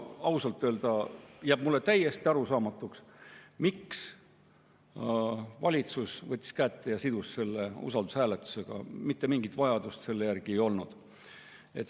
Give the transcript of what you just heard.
Ausalt öelda jääb mulle täiesti arusaamatuks, miks valitsus võttis kätte ja sidus selle usaldushääletusega, mitte mingit vajadust selle järele ei olnud.